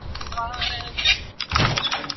Eða eru þar enn.